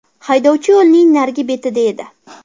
Haydovchi yo‘lning narigi betida edi.